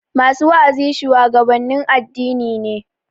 Masu wa'azi shuwagabannin addini ne